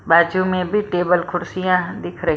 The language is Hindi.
बाजू में भी टेबल खुर्शियां दिख रही--